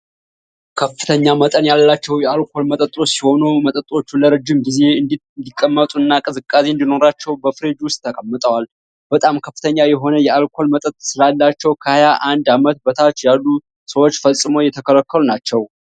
ከፍተኛ መጠን ያላቸው የአልኮል መጠጦች ሲሆኑ መጠጦች ለረጅም ጊዜ እንዲቀመጡና ቅዝቃዜ እንዲኖራቸው በፍሪጅ ውስጥ ተቀምጠዋል። በጣም ከፍተኛ የሆነ የአልኮል መጠን ስላላቸው ከሀያ አንድ አመት በታች ያሉ ሰዎች ፈጽሞ የተከለከሉ ናቸው።